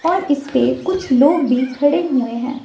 और इसपे कुछ लोग भी खड़े हुए हैं।